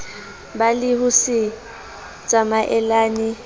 ba le ho se tsamaelane